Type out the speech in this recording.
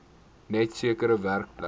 net sekere werkplekke